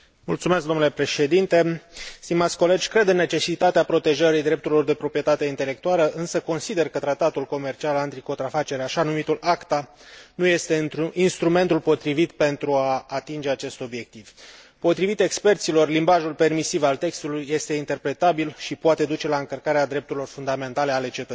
Cred în necesitatea protejării drepturilor de proprietate intelectuală, însă consider că Tratatul comercial anticontrafacere, așa numitul ACTA, nu este instrumentul potrivit pentru a atinge acest obiectiv. Potrivit experților, limbajul permisiv al textului este interpretabil și poate duce la încălcarea drepturilor fundamentale ale cetățenilor.